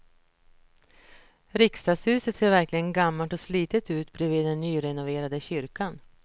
Riksdagshuset ser verkligen gammalt och slitet ut bredvid den nyrenoverade kyrkan.